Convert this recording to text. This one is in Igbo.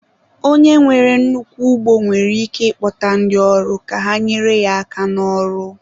Onye nwere nnukwu ugbo nwere ike ịkpọta ndị ọrụ ka ha nyere ya aka n'ọrụ